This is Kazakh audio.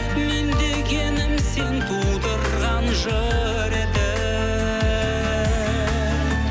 мен дегенім сен тудырған жыр едің